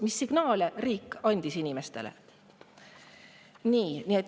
Mis signaale andis riik inimestele?